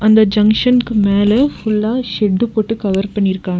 அந்த ஜங்ஷன்க்கு மேல ஃபுல்லா ஷெட்டு போட்டு கவர் பண்ணிருக்காங்--